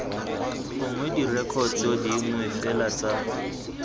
gongwe direkoto dingwe fela tsa